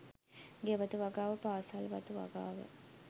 ගෙවතු වගාව පාසල් වතු වගාව